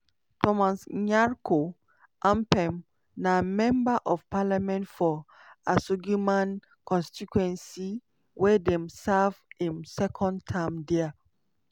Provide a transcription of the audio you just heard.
thomas nyarko ampem na member of parliament for asuogyman constituency wey dey serve im second term dia.